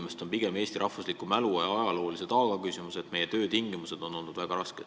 Pigem on selle taga Eesti rahvuslik mälu ja ajalooline taak, meie töötingimused on olnud väga rasked.